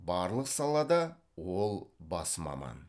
барлық салада ол бас маман